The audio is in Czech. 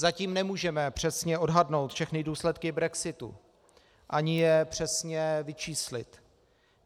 Zatím nemůžeme přesně odhadnout všechny důsledky brexitu ani je přesně vyčíslit.